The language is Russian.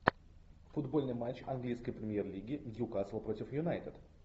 футбольный матч английской премьер лиги ньюкасл против юнайтед